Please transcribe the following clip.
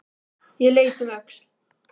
Ég leit um öxl.